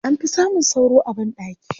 An fi samun sauro a banɗaki.